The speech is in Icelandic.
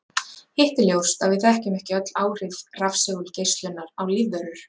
Hitt er ljóst að við þekkjum ekki öll áhrif rafsegulgeislunar á lífverur.